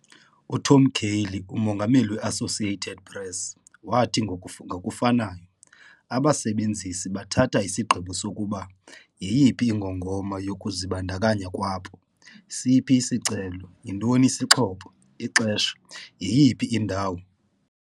UTom Curley, uMongameli we-Associated Press, wathi ngokufanayo, "Abasebenzisi bathatha isigqibo sokuba yeyiphi ingongoma yokuzibandakanya kwabo - siphi isicelo, yintoni isixhobo, ixesha, yeyiphi indawo."